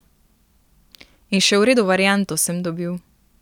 In še v redu varianto sem dobil.